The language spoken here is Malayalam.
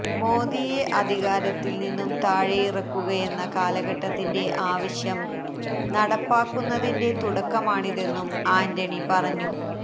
മോദിയെ അധികാരത്തില് നിന്നും താഴെയിറക്കുകയെന്ന കാലഘട്ടത്തിന്റെ ആവശ്യം നടപ്പാക്കുന്നതിന്റെ തുടക്കമാണിതെന്നും ആന്റണി പറഞ്ഞു